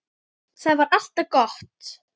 Það var alltaf gott.